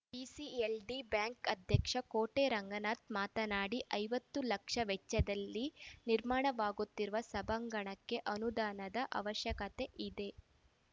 PCLD bank ಅಧ್ಯಕ್ಷ ಕೋಟೆ ರಂಗನಾಥ್‌ ಮಾತನಾಡಿ ಐವತ್ತು ಲಕ್ಷ ವೆಚ್ಚದಲ್ಲಿ ನಿರ್ಮಾಣವಾಗುತ್ತಿರುವ ಸಭಾಂಗಣಕ್ಕೆ ಅನುದಾನದ ಅವಶ್ಯಕತೆ ಇದೆ